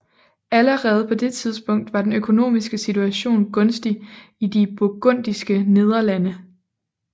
Allerede på det tidspunkt var den økonomiske situation gunstig i De burgundiske Nederlande